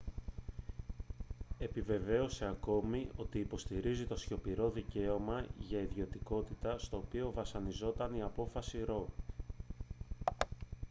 επιβεβαίωσε ακόμη ότι υποστηρίζει το σιωπηρό δικαίωμα για ιδιωτικότητα στο οποίο βασιζόταν η απόφαση roe